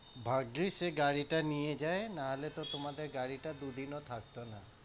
ভাগ্যিস সে গাড়িটা নিয়ে যায়, না হলে তো তোমাদের গাড়িটা দুদিনও থাকতো না।